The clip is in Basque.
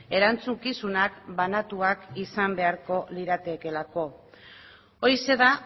erantzukizunak banatuak izan beharko liratekeelako horixe da